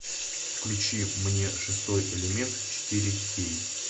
включи мне шестой элемент четыре кей